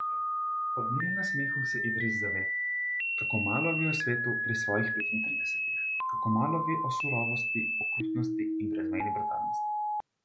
Ob njenem nasmehu se Idris zave, kako malo ve o svetu pri svojih petintridesetih, kako malo ve o surovosti, okrutnosti in brezmejni brutalnosti.